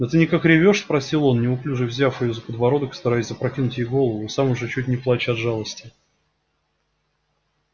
да ты никак ревёшь спросил он неуклюже взяв её за подбородок и стараясь запрокинуть ей голову и сам уже чуть не плача от жалости